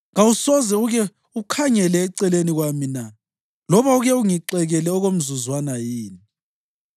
Kawusoze uke ukhangele eceleni kwami na, loba uke ungixekele okomzuzwana yini?